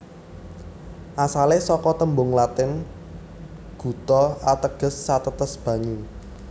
Asale saka tembung Latin gutta ateges satetes banyu